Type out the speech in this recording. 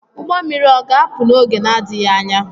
Ugbo mmiri o ga-apụ n’oge na-adịghị anya?